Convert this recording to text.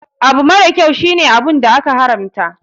Abubakar kyau shine abun da aka haramta.